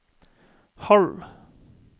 halv